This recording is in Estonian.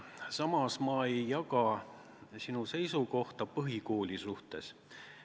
Samas ma ei jaga sinu seisukohta põhikooli suhtes.